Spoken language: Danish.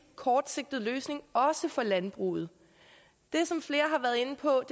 kortsigtet løsning også for landbruget det som flere har været inde på